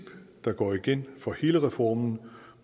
der går igen for hele reformen